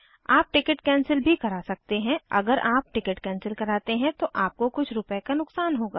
आप ticket cancel भी करा सकते हैं अगर आप टिकट कैंसिल कराते हैं तो आपको कुछ रूपए का नुकसान होगा